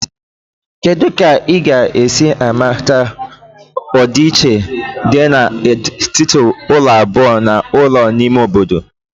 Kedu ka ị ga-esi mata ọdịiche dị na etiti ụlọ abụọ na ụlọ ime obodo?